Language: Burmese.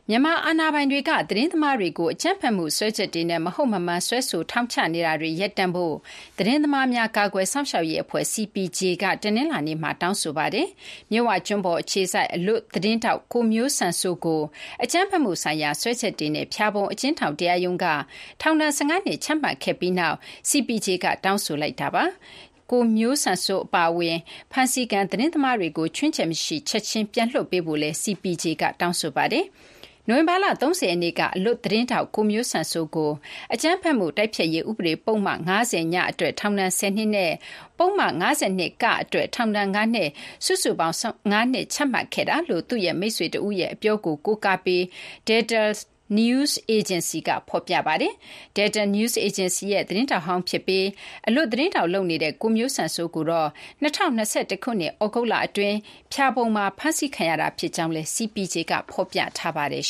မြန်မာအာဏာပိုင်တွေက သတင်းသမားတွေကို အကြမ်းဖက်မှု စွဲချက်တွေနဲ့ မဟုတ်မမှန် စွဲဆိုပြီး ထောင်ချနေတာတွေ ရပ်တန့်ဖို့ သတင်းသမားများ ကာကွယ်စောင့်ရှောက်ရေးအဖွဲ့ CPJ က တနလာၤနေ့မှာ တောင်းဆိုလိုက်ပါတယ်။ မြစ်ဝကျွန်းပေါ် အခြေစိုက် အလွတ်သတင်းထောက် ကိုမျိုးစံစိုး ကို အကြမ်းဖက်မှုဆိုင်ရာ စွဲချက်တွေနဲ့ ဖျာပုံ အကျဉ်းထောင် တရားရုံးက ထောင်ဒဏ် ၁၅ နှစ် ချမှတ်ခဲ့ပြီးနောက် CPJ က တောင်းဆိုလိုက်တာပါ။ ကိုမျိုးစံစိုး အပါအဝင် ဖမ်းဆီးခံ သတင်းသမားတွေ ခြွင်းချက်မရှိ ချက်ချင်း ပြန်လွှတ်ပေးဖို့လည်း CPJ က တောင်းဆိုပါတယ်။ နိုဝင်ဘာလ ၃၀ ရက်နေ့က အလွတ်သတင်းထောက် ကိုမျိုးစံစိုးကို အကြမ်းဖက်မှု တိုက်ဖျက်ရေး ဥပဒေ ပုဒ်မ ၅၀(ည) အတွက် ထောင်ဒဏ် ၁၀ နှစ် နဲ့ ပုဒ်မ ၅၂(က)အတွက် ထောင်ဒဏ် ၅နှစ် စုစုပေါင်း ၁၅ နှစ် ချမှတ်ခဲ့တာလို့ သူ့ရဲ့မိတ်ဆွေတဦးရဲ့ အပြောကို ကိုးကားပြီး Delta News Agency က ဖော်ပြပါတယ်။ Delta News Agency ရဲ့ သတင်းထောက်ဟောင်း ဖြစ်ပြီး အလွတ်သတင်းထောက် လုပ်နေတဲ့ ကိုမျိုးစံစိုးကိုတော့ ၂၀၂၁ ခုနှစ် သြဂုတ်လ အတွင်း ဖျာပုံမှာ ဖမ်းဆီးခဲ့တာ ဖြစ်ကြောင်းလည်း CPJ က ဖော်ပြထားပါတယ်